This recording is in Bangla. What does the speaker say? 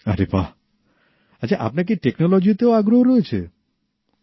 আরে বাঃ আচ্ছা আপনার কি টেকনোলজিতেও আগ্রহ আছে